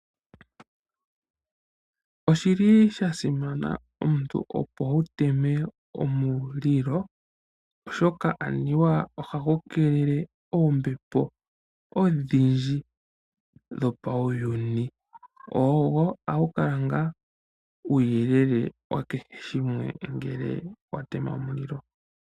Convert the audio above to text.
Oshili shasimana opo omuntu wuteme omulilo oshoka anuwa ohagu keelele oombepo odhindji ombwiinayi kutya nee otadhi zi mewangandjo nenge palwe. Okutema omulilo okuli haku e ta elago.